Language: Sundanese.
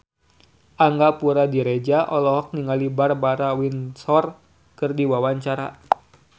Angga Puradiredja olohok ningali Barbara Windsor keur diwawancara